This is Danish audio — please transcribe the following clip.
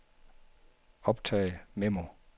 optag memo